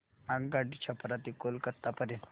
आगगाडी छपरा ते कोलकता पर्यंत